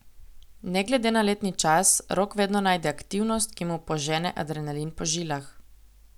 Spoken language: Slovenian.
Ne glede na letni čas, Rok vedno najde aktivnost, ki mu požene adrenalin po žilah.